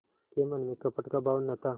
के मन में कपट का भाव न था